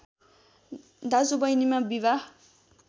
दाजु बहिनीमा विवाह